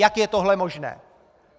Jak je tohle možné?